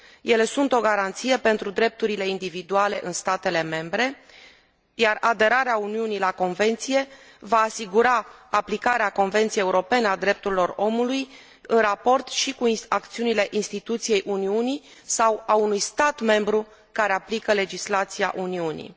Ele sunt o garanție pentru drepturile individuale în statele membre, iar aderarea Uniunii la Convenție va asigura aplicarea Convenției Europene a Drepturilor Omului în raport și cu acțiunile instituției Uniunii sau ale unui stat membru care aplică legislația Uniunii.